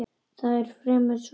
Það er fremur svalt.